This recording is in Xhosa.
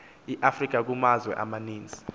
eafrica kumazwe amaninzi